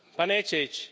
Pa neće ići!